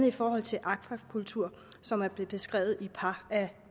i forhold til akvakultur som er blevet beskrevet i et par af